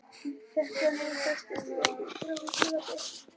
Þetta nef festist í veggnum þegar húsið var byggt.